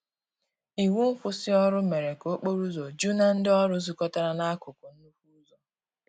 Iwụ nkwụsì ọrụ mere ka okporo ụzọ ju na ndi ọrụ zukotara na akụkụ nnukwu ụzọ.